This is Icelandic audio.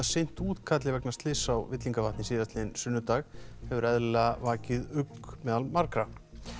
sinnt útkalli vegna slyss á Villingavatn síðastliðinn sunnudag hefur eðlilega vakið ugg meðal margra